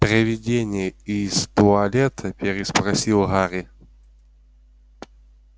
привидение из туалета переспросил гарри